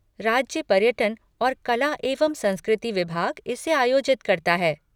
राज्य पर्यटन और कला एवं संस्कृति विभाग इसे आयोजित करता है।